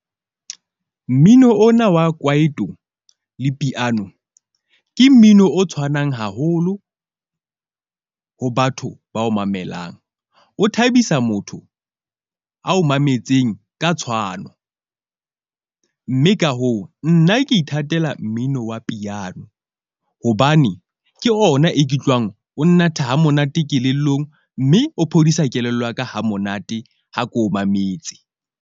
Mmino ona wa kwaito le piano ke mmino o tshwanang haholo ho batho bao mamelang. O thabisa motho a o mametseng ka tshwano, mme ka hoo, nna ke ithatela mmino wa piano. Hobane ke ona e ke utlwang o natha ha monate kelellong, mme o phodisa kelello ya ka ha monate ha ko mametse.